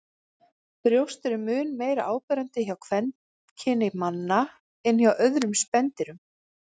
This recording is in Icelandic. Brjóst eru mun meira áberandi hjá kvenkyni manna en hjá öðrum spendýrum.